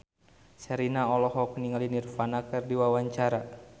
Sherina olohok ningali Nirvana keur diwawancara